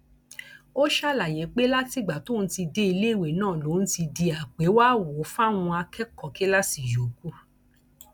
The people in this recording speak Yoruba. ó ṣàlàyé pé látìgbà tóun ti dé iléèwé náà lòun ti di àpéwàáwò fáwọn akẹkọọ kíláàsì yòókù